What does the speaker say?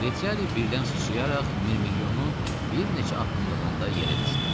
Retiari birdən sıçrayaraq Mirmilyonun bir neçə addımlığında yerə düşdü.